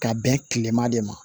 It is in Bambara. Ka bɛn kilema de ma